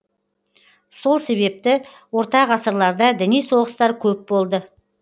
сол себепті орта ғасырларда діни соғыстар көп болды